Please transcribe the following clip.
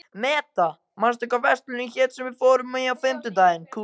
Meda, manstu hvað verslunin hét sem við fórum í á fimmtudaginn?